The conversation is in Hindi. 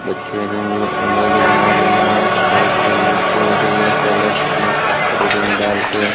बच्चियां जिन रंगोली बना रही हैं बहुत बच्चियां बैठी हुई है जिन्हे कलर्स में कटोरी में डाल के--